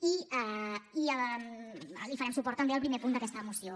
i li farem suport també al primer punt d’aquesta moció